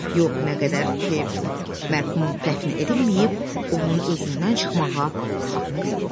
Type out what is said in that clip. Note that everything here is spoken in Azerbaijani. Yox, nə qədər ki, mərhum dəfn edilməyib, onun özündən çıxmağa haqqı yoxdur.